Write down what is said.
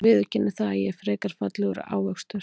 Ég viðurkenni það að ég er frekar fallegur ávxöxtur.